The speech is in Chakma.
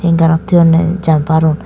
hanger rot thoyonne jumper un.